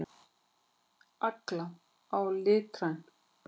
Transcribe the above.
Agla: Á lítrann.